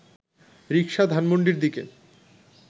রিকশা ধানমন্ডির দিকে